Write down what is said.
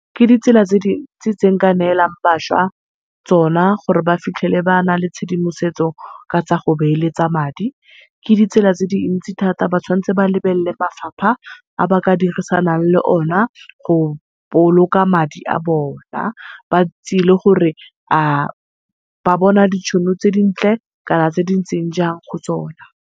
Ke ditsela tse dintsi tse nka neelang bašwa tsona gore ba fitlhele bana le tshedimosetso ka tsa go beeletsa madi. Ke ditsela tse dintsi thata ba tshwanetse ba lebella mafapha a ba ka dirisanang le ona go boloka madi a bona, ba itse le gore ba bona ditšhono tse dintle kana tse dintseng jang go tsona.